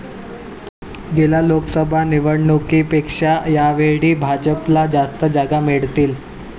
गेल्या लोकसभा निवडणुकीपेक्षा यावेळी भाजपला जास्त जागा मिळतील.